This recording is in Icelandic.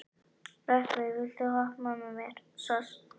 Rökkvi, viltu hoppa með mér?